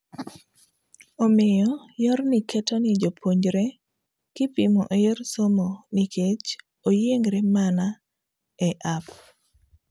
Omiyo, yorni keto ni jopuopnjre kipimo eyor somonikech oyiengre mana e app.